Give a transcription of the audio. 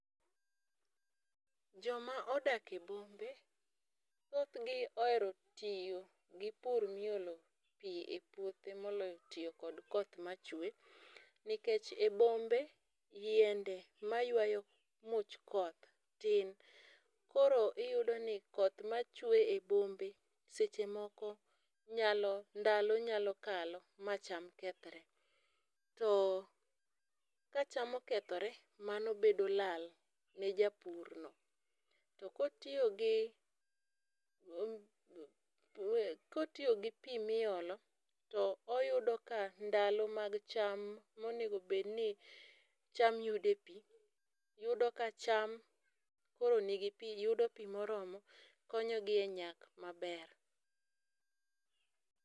Joma odak e bombe, thothgi ohero tiyo gipur miolo pi epuothe moloyo tiyo kod koth machue, nikech e bombe yiende mayuayo much koth tin. Koro iyudo ni koth machue e bombe seche moko nyalo, ndalo nyalo kalo macham kethre. To kacham okethre, mano bedo lal ne japurno. To kotiyo gi mm e kotiyo gi pi miolo, to oyudo ka ndalo mag cham monego bed ni cham yude pii, yudo kacham koro nigi pii, yudo pii moromo, konyogi enyak maber.